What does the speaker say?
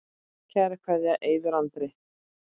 Kær kveðja, Eiður Andri.